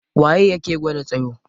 Waye yake gwada tsayo?